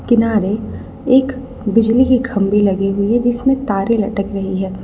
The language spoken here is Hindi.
किनारे एक बिजली की खंबी लगी हुई हैं जिसमें तारे लटक रही है।